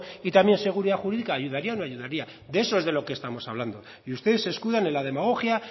y también seguridad jurídica ayudaría o no ayudaría de eso es de lo que estamos hablando y ustedes se escudan en la demagogia